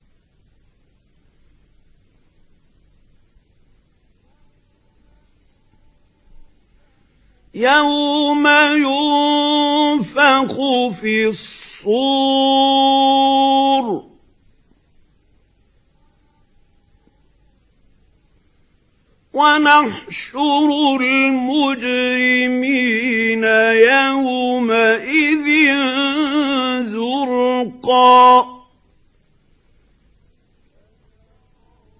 يَوْمَ يُنفَخُ فِي الصُّورِ ۚ وَنَحْشُرُ الْمُجْرِمِينَ يَوْمَئِذٍ زُرْقًا